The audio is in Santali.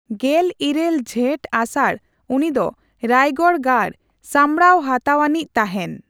ᱜᱮᱞ ᱤᱨᱟᱹᱞ ᱡᱷᱮᱴᱼᱟᱥᱟᱲ ᱩᱱᱤ ᱫᱚ ᱨᱟᱭᱜᱚᱲ ᱜᱟᱲ ᱥᱟᱢᱵᱽᱲᱟᱣ ᱦᱟᱛᱟᱣ ᱟ.ᱱᱤᱡᱽ ᱛᱟᱦᱮᱱ ᱾